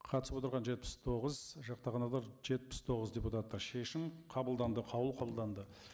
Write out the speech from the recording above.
қатысып отырған жетпіс тоғыз жақтағандар жетпіс тоғыз депутаттар шешім қабылданды қаулы қабылданды